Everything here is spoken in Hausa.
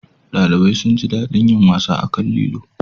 ɗalibai sun ji daɗin yin wasa akan lilon